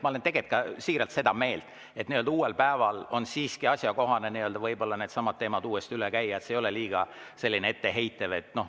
Ma olen siiralt seda meelt, et uuel päeval on siiski võib-olla asjakohane needsamad teemad uuesti üle käia, see ei ole liiga tõsimeeli etteheidetav.